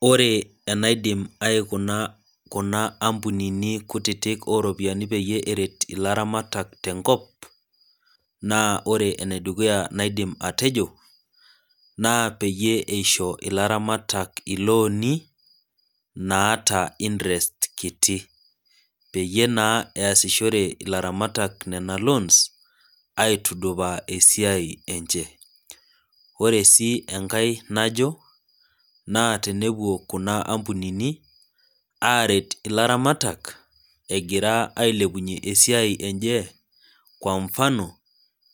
Ore enaidim aikuna Kuna ampunini kutitik oropiyiani peyie eret ilaramatak tenkop ,naa ore ene dukuya naidim atejo naa peyie eisho ilaramatak ilooni naata interest kiti peyie eesishore naa ilaramatak nina loons aitudupaa esiai enche. ore sii enkae najo naa tenepuo kuna ampunini aret ilaramatak egira ailepunye esiai enye ,kwa mfano